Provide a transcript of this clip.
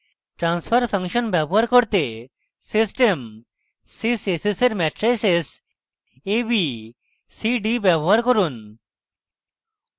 transfer function প্রাপ্ত করতে system sys s s এর matrices a b c d ব্যবহার করুন